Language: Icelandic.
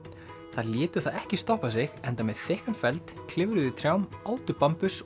þær létu það ekki stoppa sig enda með þykkan feld klifruðu í trjám átu